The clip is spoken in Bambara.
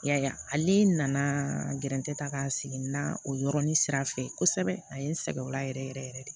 I y'a ye ale nana gɛrɛ ta ka sigi na o yɔrɔnin sira fɛ kosɛbɛ a ye n sɛgɛn o la yɛrɛ yɛrɛ yɛrɛ de